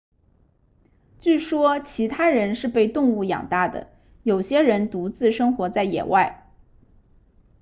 据说其他人是被动物养大的有些人独自生活在野外